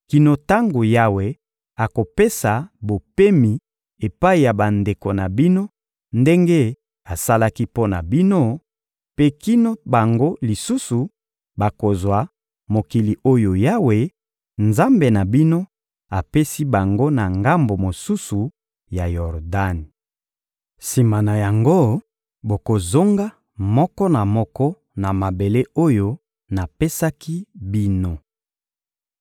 kino tango Yawe akopesa bopemi epai ya bandeko na bino ndenge asalaki mpo na bino, mpe kino bango lisusu bakozwa mokili oyo Yawe, Nzambe na bino, apesi bango na ngambo mosusu ya Yordani. Sima na yango, bokozonga, moko na moko, na mabele oyo napesaki bino.»